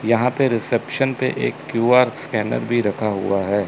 यहाॅं पे रिसेप्शन पे एक क्यू_आर स्कैनर भी रखा हुआ हैं।